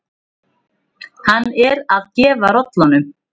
Hann er að gefa rollunum.